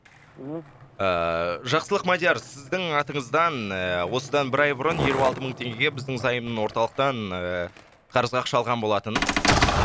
мхм ыыы жақсылық мадияр сіздің атыңыздан ыыы осыдан бір ай бұрын елу алты мың теңгеге біздің заем орталықтан ыыы қарызға ақша алған болатын